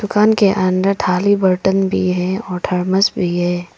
दुकान के अंदर थाली बर्तन भी है और थर्मस भी है।